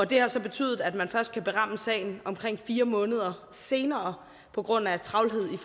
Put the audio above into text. det har så betydet at man først kan ramme sagen omkring fire måneder senere på grund af travlhed i